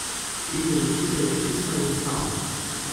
In rešitev je čisto enostavna.